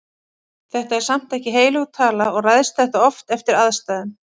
Þetta er samt ekki heilög tala og ræðst þetta oft eftir aðstæðum.